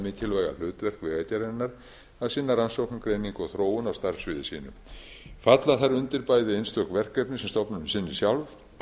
mikilvæga hlutverk vegagerðarinnar að sinna rannsóknum greiningu og þróun á starfssviði sínu falla þær undir bæði einstök verkefni sem stofnunin sinnir sjálf